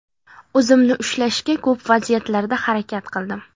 O‘zimni ushlashga ko‘p vaziyatlarda harakat qildim.